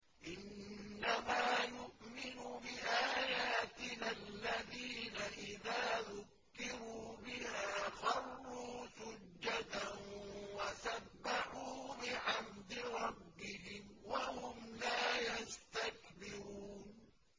إِنَّمَا يُؤْمِنُ بِآيَاتِنَا الَّذِينَ إِذَا ذُكِّرُوا بِهَا خَرُّوا سُجَّدًا وَسَبَّحُوا بِحَمْدِ رَبِّهِمْ وَهُمْ لَا يَسْتَكْبِرُونَ ۩